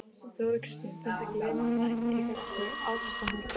Þóra Kristín: Finnst ykkur launin ykkar ekki ásættanleg?